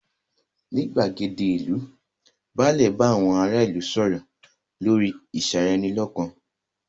Ní gbàgéde ìlú, báàlẹ̀ bá àwọn ará ìlú sọ̀rọ̀ lórí ìṣeranilọ́kan.